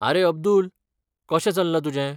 आरे अब्दुल, कशें चल्लां तुजें?